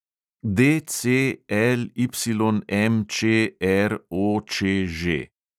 DCLYMČROČŽ